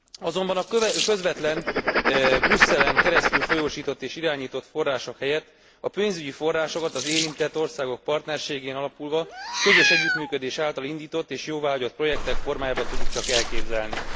Azonban a közvetlen, Brüsszelen keresztül folyósított és irányított források helyett a pénzügyi forrásokat az érintett országok partnerségén alapulva, közös együttműködés által indított és jóváhagyott projektek formájában tudjuk csak elképzelni.